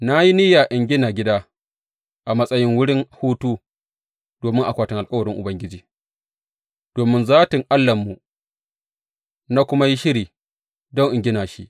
Na yi niyya in gina gida a matsayin wurin hutu domin akwatin alkawarin Ubangiji, domin zatin Allahnmu, na kuma yi shiri don in gina shi.